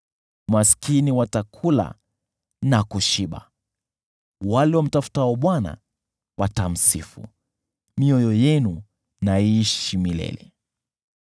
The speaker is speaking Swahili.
Maskini watakula na kushiba, wale wamtafutao Bwana watamsifu: mioyo yenu na iishi milele!